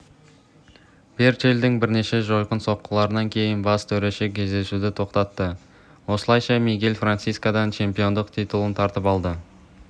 берчелттің бірнеше жойқын соққыларынан кейін бас төреші кездесуді тоқтаты осылайша мигель франсискодан чемпиондық титулын тартып алды